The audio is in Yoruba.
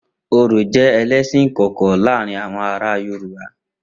Orò jẹ́ ẹlẹ́sìn ìkọ̀kọ̀ láàárín àwọn ará Yorùbá.